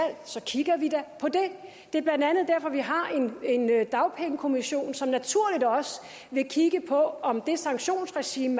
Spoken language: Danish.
så kigger vi da på det det er blandt andet derfor vi har en dagpengekommission som naturligt også vil kigge på om det sanktionsregime